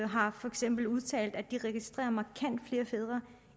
har for eksempel udtalt at de registrerer markant flere fædre